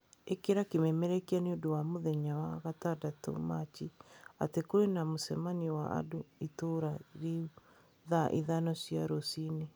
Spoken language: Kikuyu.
Ĩkĩra kĩmemerekia nĩ ũndũ wa mũthenya wa gatandatũ machi atĩ kũrĩ na mũcemanio wa andũ a itũũra rĩu thaa ithano cia rũciinĩ.